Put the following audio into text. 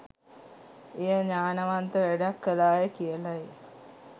එයා ඤාණවන්ත වැඩක් කළාය කියලයි